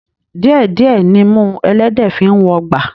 Díẹ̀ díẹ̀ nimú ẹlẹ́dẹ̀ẹ́ fi ń wọgbà